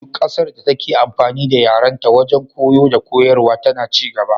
Duk ƙasar da take amfani da yarenta wajen koyo dakoyarwa tana ci gaba.